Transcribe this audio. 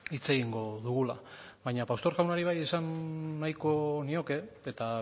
hitz egingo dugula baina pastor jaunari bai esan nahiko nioke eta